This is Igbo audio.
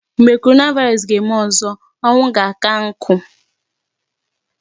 Mgbe coronavirus ga-eme ọzọ, ọnwu ga-aka nkụ.